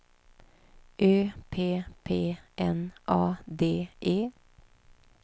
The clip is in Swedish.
Ö P P N A D E